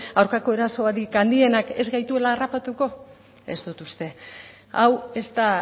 aurkako erasorik handienak ez gaituela harrapatuko ez dut uste hau ez da